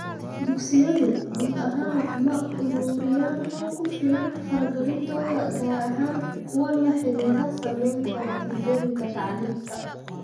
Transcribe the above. Dugsiyadu guud ahaan ma ururiyaan xog ku filan faragelintooda, gaar ahaan kuwa la xidhiidha saamaynta natiijooyinka tacliinta.